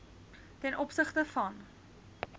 ten opsigte van